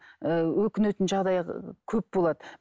ыыы өкінетін жағдай көп болады